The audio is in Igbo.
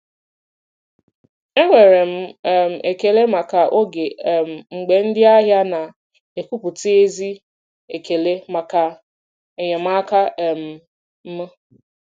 Enwere m um ekele maka oge um mgbe ndị ahịa na-ekwupụta ezi ekele maka enyemaka um m.